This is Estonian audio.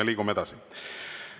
Me liigume edasi.